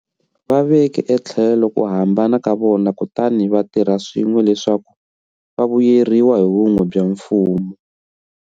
Va veke etlhelo ku hambana ka vona kutani va tirha swin'we leswaku va vuyeriwa hi vun'we bya mfumo.